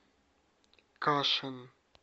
кашин